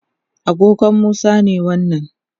agogon Musa ne wannan